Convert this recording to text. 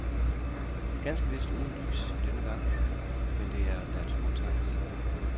Ganske vist uden lys i denne gang, men det er da en smuk tanke, ikke.